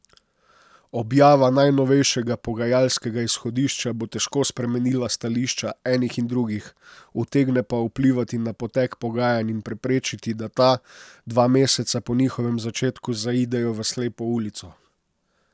Objava najnovejšega pogajalskega izhodišča bo težko spremenila stališča enih in drugih, utegne pa vplivati na potek pogajanj in preprečiti, da ta, dva meseca po njihovem začetku, zaidejo v slepo ulico.